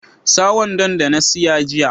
Sa wandon da na siya jiya.